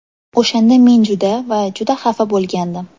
O‘shanda men juda va juda xafa bo‘lgandim.